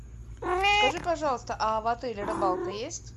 скажи пожалуйста а в отеле рыбалка есть